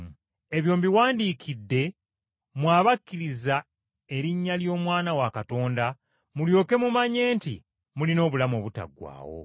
Ebyo mbiwandiikidde mmwe abakkiriza erinnya ly’Omwana wa Katonda, mulyoke mumanye nti mulina obulamu obutaggwaawo.